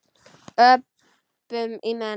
Öpum í menn.